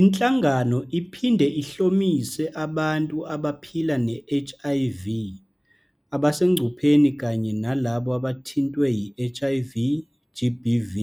Inhlangano iphinde ihlomise abantu abaphila ne-HIV, abasengcupheni kanye nalabo abathintwe yi-HIV GBV